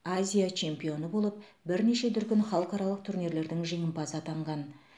азия чемпионы болып бірнеше дүркін халықаралық турнирлердің жеңімпазы атанған